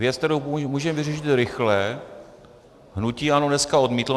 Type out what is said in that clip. Věc, kterou můžeme vyřešit rychle, hnutí ANO dneska odmítlo.